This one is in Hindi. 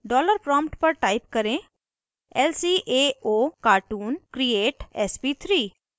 डॉलर प्रॉम्प्ट पर टाइप करें lcaocartoon create sp3